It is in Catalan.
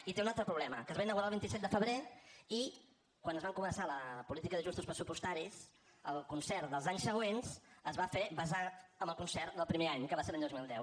i té un altre problema que es va inaugurar el vint set de febrer i quan es va començar la política d’ajustos pressupostaris el concert dels anys següents es va fer basat en el concert del primer any que va ser l’any dos mil deu